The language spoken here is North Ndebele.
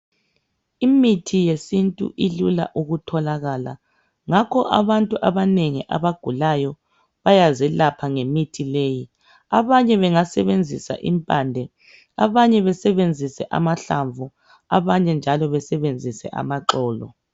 Imithi yesintu ilula ukutholakala ngakho abantu abanengi abagulayo bayazelapha ngemithi leyi. Abanye bengasebenzisa impande abanye besebenzise amahlamvu, abanye njalo besebenzise amaxolo.